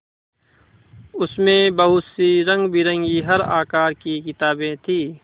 उसमें बहुत सी रंगबिरंगी हर आकार की किताबें थीं